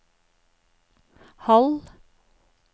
halv